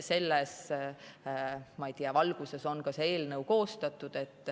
Selles valguses on see eelnõu koostatud.